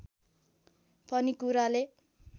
पनि कुराले